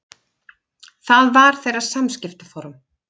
Það var þeirra samskiptaform.